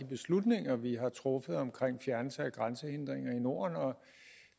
beslutninger vi har truffet om fjernelse af grænsehindringer i norden og